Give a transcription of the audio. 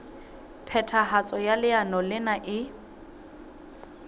phethahatso ya leano lena e